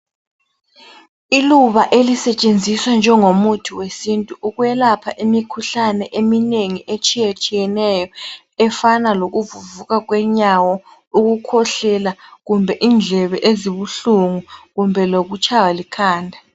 Iluba elisetshenziswa njengomuthi wesintu ukwelapha imikhuhlane eminengi etshiyetshiyeneyo efana lokuvuvuka kwenyawo, ukukhohlela, kumbe indlebe ezibuhlungu, kumbe lokutshaywa likhanda.